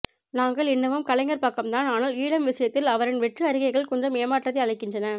நாங்கள் இன்னமும் கலைஞர் பக்கம் தான் ஆனால் ஈழம் விசயத்தில் அவரின் வெற்று அறிக்கைகள் கொஞ்சம் ஏமாற்றத்தை அளிக்கின்றன